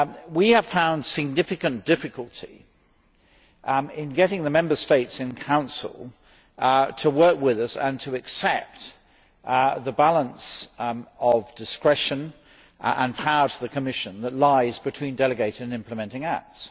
We have found significant difficulty in getting the Member States in Council to work with us and to accept the balance of discretion and power to the Commission that lies between delegated and implementing acts.